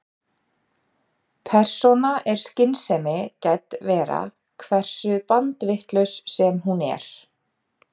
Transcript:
Persóna er skynsemi gædd vera, hversu bandvitlaus sem hún er.